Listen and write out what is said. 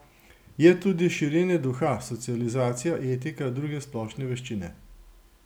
Je tudi širjenje duha, socializacija, etika, druge splošne veščine.